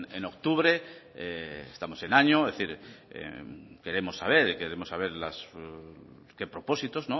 en octubre estamos en año es decir queremos saber queremos saber qué propósitos